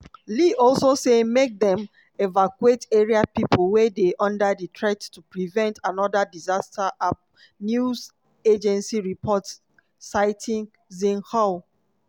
li also say make dem evacuate area pipo wey dey under threat to prevent anoda disaster ap news agency reports citing xinhua.